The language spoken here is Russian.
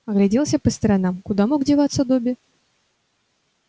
огляделся по сторонам куда мог деваться добби